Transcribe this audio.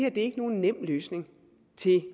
er ikke nogen nem løsning til